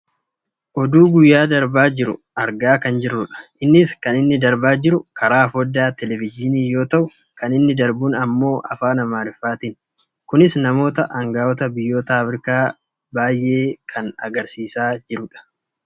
oduu guyyaa darbaa jiru argaa kan jirrudha. innis kan inni darbaa jiru karaa fooddaa televejiinii yoo ta'u kan inni darbuun ammoo afaan amaariffaatiinidh. kunis namoota anga'oota biyyoota Aafrikaa baayyee kan argaa jirrudha.